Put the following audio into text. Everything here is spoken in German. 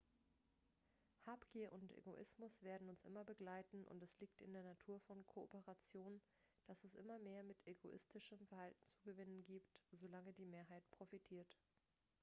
habgier und egoismus werden uns immer begleiten und es liegt in der natur von kooperation dass es immer mehr mit egoistischem verhalten zu gewinnen gibt solange die mehrheit profitiert